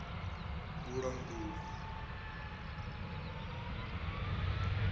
vhulanguli